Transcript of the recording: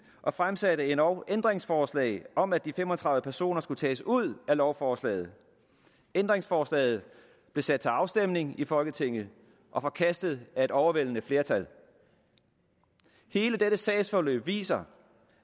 og fremsætte endog ændringsforslag om at de fem og tredive personer skulle tages ud af lovforslaget ændringsforslaget blev sat til afstemning i folketinget og forkastet af et overvældende flertal hele dette sagsforløb viser